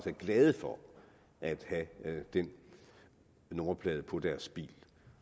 er glade for at have den nummerplade på deres bil